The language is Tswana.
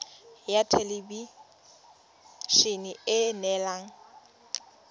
ya thelebi ene e neela